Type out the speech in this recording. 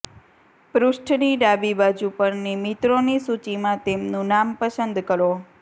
પૃષ્ઠની ડાબી બાજુ પરની મિત્રોની સૂચિમાંથી તેમનું નામ પસંદ કરો